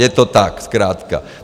Je to tak zkrátka.